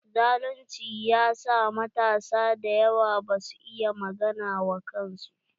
Zalunci ya sa matasa dayawa ba su iya magana wa kansu.